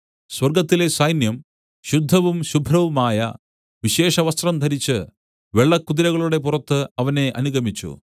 സ്വർഗ്ഗത്തിലെ സൈന്യം ശുദ്ധവും ശുഭ്രവുമായ വിശേഷവസ്ത്രം ധരിച്ച് വെള്ളക്കുതിരകളുടെ പുറത്തു അവനെ അനുഗമിച്ചു